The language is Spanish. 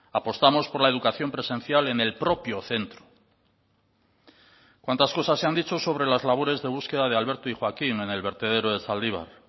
apostamos por la educación presencial en el propio centro cuántas cosas se han dicho sobre las labores de búsqueda de alberto y joaquín en el vertedero de zaldibar